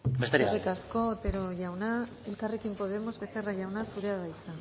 besterik gabe eskerrik asko otero jauna elkarrekin podemos becerra jauna zurea da hitza